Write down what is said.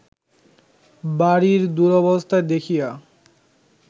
বাড়ীর দুরবস্থা দেখিয়া